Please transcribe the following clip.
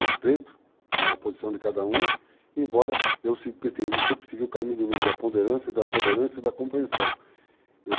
Respeito a posição de cada um, embora eu se pretendisse seguir o caminho do meio da ponderância, da tolerância e da compreensão.